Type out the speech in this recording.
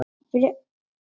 Og hvaðan kom lognið?